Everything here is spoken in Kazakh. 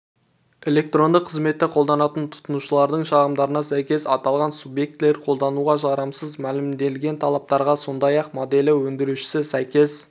электронды қызметті қолданатын тұтынушылардың шағымдарына сәйкес аталған субъектілер қолдануға жарамсыз мәлімделген талаптарға сондай-ақ моделі өндірушісі сәйкес